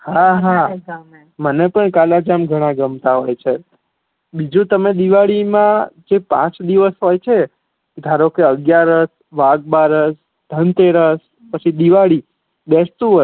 હા, હા મને પણ કલા-જામ ગમતા હોય છે બીજું તમે દિવાળી મા જે પાંચ દિવસ હોય છે ધારોકે અગિયારશ, વાઘ-બારશ, ધનતેરશ પછી દિવાળ બેશ્તુવર્ષ